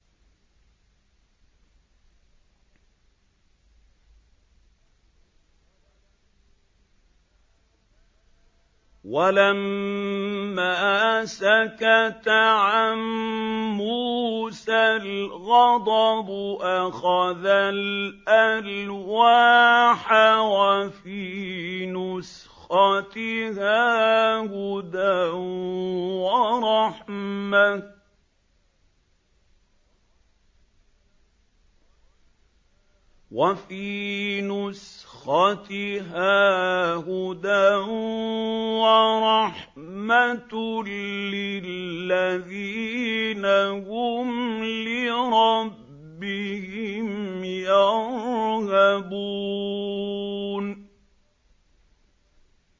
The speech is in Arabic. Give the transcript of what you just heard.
وَلَمَّا سَكَتَ عَن مُّوسَى الْغَضَبُ أَخَذَ الْأَلْوَاحَ ۖ وَفِي نُسْخَتِهَا هُدًى وَرَحْمَةٌ لِّلَّذِينَ هُمْ لِرَبِّهِمْ يَرْهَبُونَ